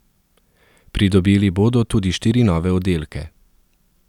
Pridobili bodo tudi štiri nove oddelke.